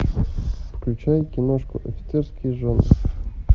включай киношку офицерские жены